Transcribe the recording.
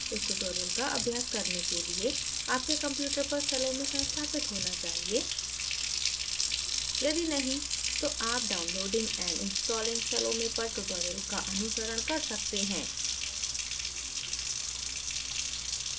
इस tutorial का अभ्यास करने के लिए आपके computer पर salome संस्थापित होना चाहिए यदि नहीं तो आप downloading and installing salome पर tutorial का अनुसरण कर सकते हैं